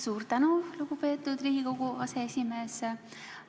Suur tänu, lugupeetud Riigikogu aseesimees!